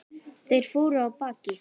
Þeir fóru af baki.